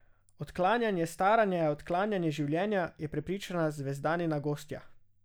Odklanjanje staranja je odklanjanje življenja, je prepričana Zvezdanina gostja.